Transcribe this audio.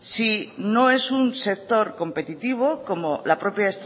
si no es un sector competitivo como la propia